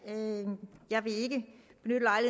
jeg vil